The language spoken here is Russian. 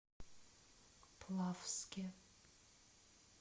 плавске